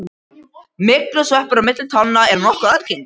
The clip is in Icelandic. Myglusveppur á milli tánna er nokkuð algengur.